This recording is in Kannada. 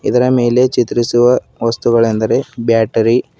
ಇದರ ಮೇಲೆ ಚಿತ್ರಿಸಿರುವ ವಸ್ತುಗಳೆಂದರೆ ಬ್ಯಾಟರಿ --